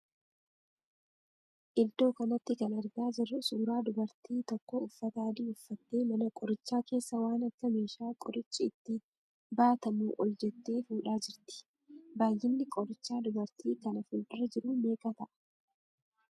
Iddoo kanatti kan argaa jirru suuraa dubartiin tokko uffata adii uffattee mana qorichaa keessaa waan akka meeshaa qorichi itti baatamu ol jettee fuudhaa jirti. Baayyinni qorichaa dubartii kana fuuldura jiruu meeqa ta'a?